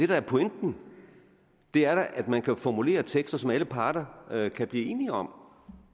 der er pointen det er da at man kan formulere tekster som alle parter kan blive enige om